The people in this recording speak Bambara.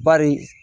Bari